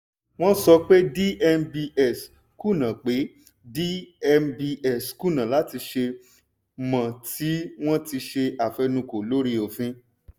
wọ́n sọ pé dmbs kùnà pé dmbs kùnà láti ṣe mou tí wọ́n ti ṣe àfẹnukò lórí òfin.